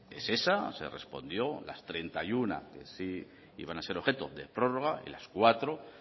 es esa se respondió las treinta y uno que sí iban a ser objeto de prórroga y las cuatro